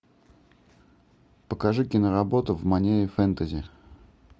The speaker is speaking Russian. покажи киноработу в манере фэнтези